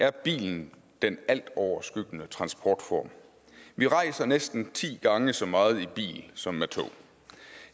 er bilen den altoverskyggende transportform vi rejser næsten ti gange så meget i bil som med tog